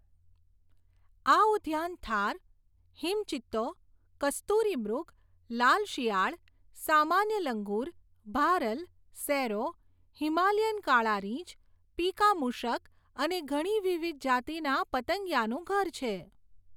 આ ઉદ્યાન થાર, હિમ ચિત્તો, કસ્તુરીમૃગ, લાલ શિયાળ, સામાન્ય લંગુર, ભારલ, સેરો, હિમાલયન કાળા રીંછ, પીકા મુષક અને ઘણી વિવિધ જાતિના પતંગિયાનું ઘર છે.